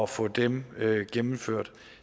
få dem gennemført